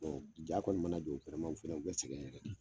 Bon diya kɔni mana jɔ u fana u bɛ sɛgɛn yɛrɛ